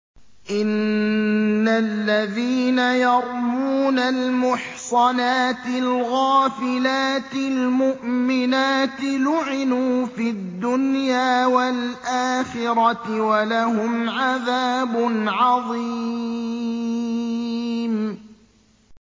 إِنَّ الَّذِينَ يَرْمُونَ الْمُحْصَنَاتِ الْغَافِلَاتِ الْمُؤْمِنَاتِ لُعِنُوا فِي الدُّنْيَا وَالْآخِرَةِ وَلَهُمْ عَذَابٌ عَظِيمٌ